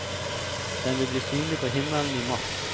Den vil bli synlig på himmelen i mars.